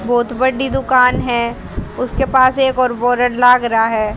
बहोत बड्डी दुकान है उसके पास एक और बोरड लाग रहा है।